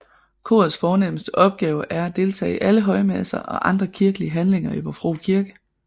Korets fornemmeste opgave er at deltage i alle højmesser og andre kirkelige handlinger i Vor Frue Kirke